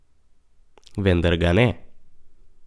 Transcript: Vendar ga ne.